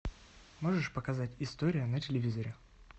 можешь показать история на телевизоре